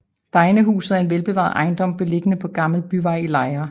Degnehuset er en velbevaret ejendom beliggende på Gammel Byvej i Lejre